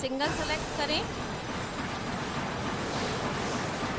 single select करें